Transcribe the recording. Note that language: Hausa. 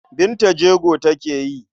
Binta jego take yi.